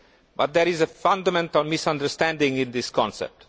But there is a fundamental misunderstanding in this concept.